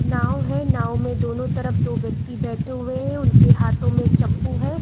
नाओ है नाओ में दोनों तरफ दो व्यक्ति बैठे हुए हैं | उनके हाथो में च्पू है ।